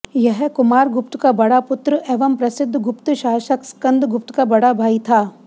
यह कुमार गुप्त का बड़ा पुत्र एवं प्रसिद्ध गुप्त सासक स्कंदगुप्त का बड़ा भाई था